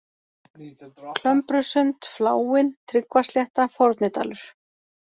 Klömbrusund, Fláinn, Tryggvaslétta, Fornidalur